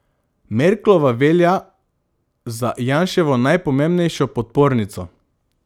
Merklova velja za Janševo najpomembnejšo podpornico.